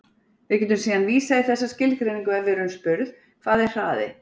Við getum síðan vísað í þessa skilgreiningu ef við erum spurð: Hvað er hraði?